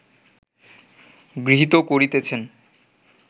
গৃহীত করিতেছেন